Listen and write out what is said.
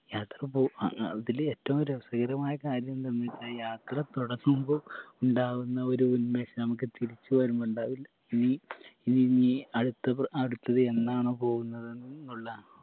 യാത്ര പോ അഹ് അ അതില് ഏറ്റവും രസകരമായ കാര്യെന്തെന്ന് വെച്ചാൽ യാത്ര തൊടങ്ങുമ്പോ ഉണ്ടാവുന്ന ഒരു ഉന്മേഷം നമക്ക് തിരിച്ച് വരുമ്പോ ഉണ്ടാവില്ല ഇനീ ഇനി നീ അടുത്ത അടുത്തത് എന്നാണോ പോവുന്നത് എന്നുള്ള